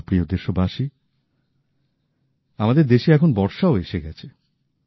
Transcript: আমার প্রিয় দেশবাসী আমাদের দেশে এখন বর্ষাও এসে গেছে